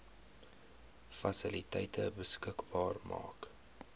fasiliteite beskikbaar maak